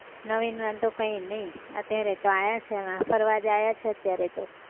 નવીનમાં તો કઈ નહિ અત્યારે તો આવ્યા છીએ ફરવા આવ્યા જ છીએ અત્યારે તો.